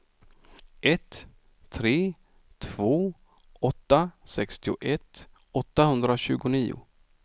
ett tre två åtta sextioett åttahundratjugonio